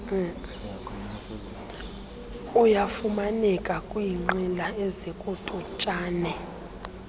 uyafumaneka kwinqila ezikututshane